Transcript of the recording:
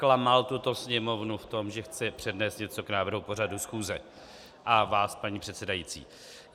Klamal tuto Sněmovnu v tom, že chce přednést něco k návrhu pořadu schůze, a vás, paní předsedající.